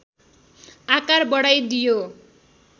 आकार बढाइदियो